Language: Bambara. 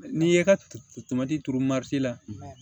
N'i ye ka tomati turu la